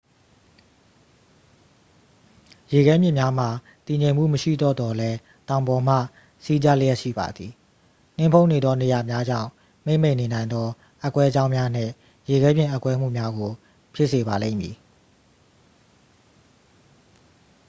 ရေခဲမြစ်များမှာ တည်ငြိမ်မှုမရှိတော့သော်လည်း တောင်ပေါ်မှ စီးကျလျှက်ရှိပါသည် နှင်းဖုံးနေသောနေရာများကြောင့် မှေးမှိန်နေနိုင်သော အက်ကွဲကြောင်းများနှင့် ရေခဲပြင်အက်ကွဲမှုများကို ဖြစ်စေပါလိမ့်မည်